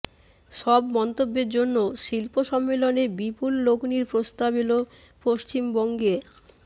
সব মন্তব্যের জন্য শিল্প সম্মেলনে বিপুল লগ্নির প্রস্তাব এল পশ্চিমবঙ্গে